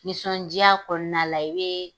Nisɔndiya kɔnɔna la bɛ